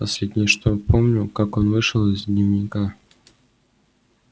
последнее что я помню как он вышел из дневника